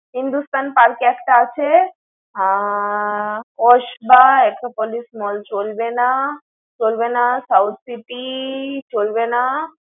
Hindustan park এ একটা আছে। আহ চলবে না, চলবে না South City চলবে না।